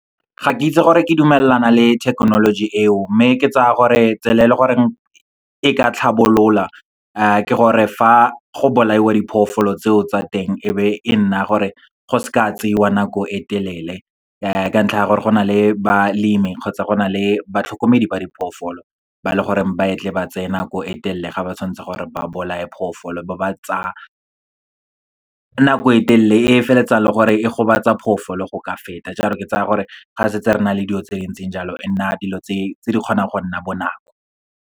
Ga ke itse gore ke dumelana le thekenoloji eo, mme ke tsaya gore tsela e le gore e ka tlhabolola ke gore fa go bolaiwa diphoofolo tseo tsa teng, e be e nna gore go se ka tseiwa nako e telele. Ka ntlha ya gore, go na le balemi kgotsa go na le batlhokomedi ba diphoofolo, ba leng gore ba e tle ba tseye nako e telele ga ba tshwanetse gore ba bolae phoofolo ba ba tsaya nako e telele e feleletsang le gore e gobatsa phoofolo go ka feta. Jalo ke tsaya gore, ga setse re na le dilo tse di ntseng jalo e nna dilo tse di kgonang go nna bonako.